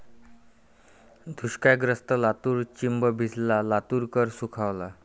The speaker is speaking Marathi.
दुष्काळग्रस्त लातूर चिंब भिजला, लातूरकर सुखावला